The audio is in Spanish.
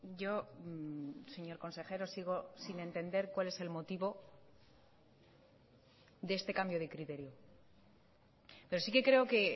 yo señor consejero sigo sin entender cuál es el motivo de este cambio de criterio pero sí que creo que